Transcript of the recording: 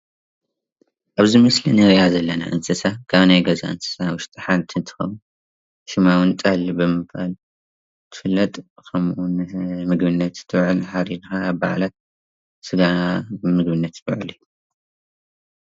ኣብዚ ምስሊ እንሪኣ ዘለና እንስሳ ካብናይ ገዛ እንስሳ ውሽጢ ሓንቲ እንትኾን ሽማ እውን ጠል ብምባል ትፍለጥ ከመኡ እውን ንምግብነት ትውዕል ሓሪድካ ኣብ በዓላት ስጋ ን ምግብነት ትውዕል።